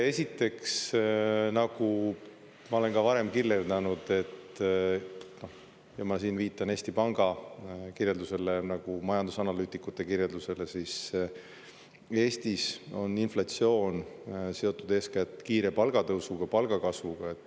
Esiteks, nagu ma olen ka varem kirjeldanud – ma siin viitan Eesti Panga kirjeldusele, majandusanalüütikute kirjeldusele –, siis Eestis on inflatsioon seotud eeskätt kiire palgatõusuga, palgakasvuga.